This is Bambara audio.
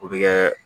O bɛ kɛ